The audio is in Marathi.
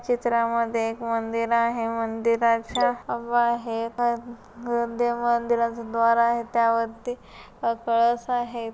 चित्रामध्ये एक मंदिर आहे. मंदिराच्या अ बाहेर अ न त्या मंदिराच द्वार आहे. त्या वरती कळस आहे.